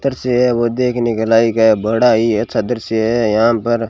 तरसी है वो देखने के लायक है बड़ा ही अच्छा दृश्य हैं यहां पर।